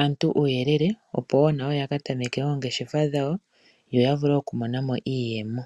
aantu uuyelele opo wo nawo ya ka tameke noongeshefa dhawo yo ya vule oku mona mo iiiyemo.